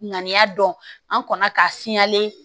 Ŋaniya dɔn an kɔnna k'a fiyɛlen